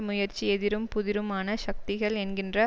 முயற்சி எதிரும் புதிருமான சக்திகள் என்கின்ற